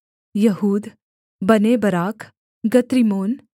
यहूद बनेबराक गत्रिम्मोन